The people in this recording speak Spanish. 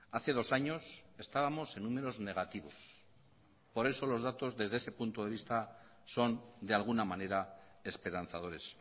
hace dos años estábamos en números negativos por eso los datos desde ese punto de vista son de alguna manera esperanzadores